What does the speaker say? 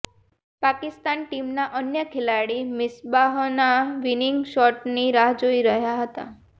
પાકિસ્તાન ટીમના અન્ય ખેલાડી મિસ્બાહના વિનિંગ શોટની રાહ જોઈ રહ્યાં હતા